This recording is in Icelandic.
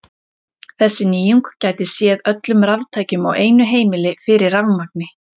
Þessi nýjung gæti séð öllum raftækjum á einu heimili fyrir rafmagni.